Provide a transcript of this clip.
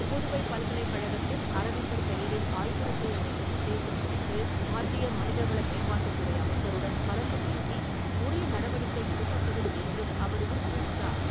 புதுவை பல்கலைக்கழகத்தில் அரவிந்தர் பெயரில் ஆய்விருக்கை அமைக்கும் உத்தேசம் குறித்து, மத்திய மனிதவள மேம்பாட்டுத் துறை அமைச்சருடன் கலந்து பேசி உரிய நடவடிக்கை எடுக்கப்படும் என்றும் அவர் உறுதியளித்தார்.